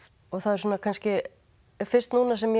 það er kannski fyrst núna sem ég